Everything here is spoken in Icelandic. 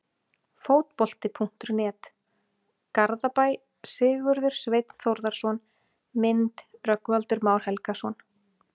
Fótbolti.net, Garðabæ- Sigurður Sveinn Þórðarson Mynd: Rögnvaldur Már Helgason